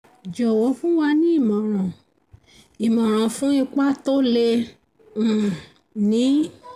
jọwọ fún wa ní imọran imọran fún ipa toh lè um ní